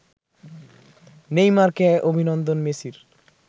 নেইমারকে অভিনন্দন মেসির